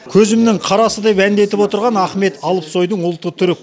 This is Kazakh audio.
көзімінің қарасы деп әндетіп отырған ахмет алпсойдың ұлты түрік